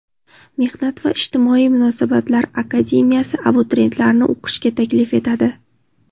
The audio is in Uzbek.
Mehnat va ijtimoiy munosabatlar akademiyasi abituriyentlarni o‘qishga taklif etadi.